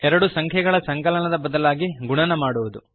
ಎರಡು ಸಂಖ್ಯೆಗಳ ಸಂಕಲನದ ಬದಲಾಗಿ ಗುಣನ ಮಾಡಬೇಕು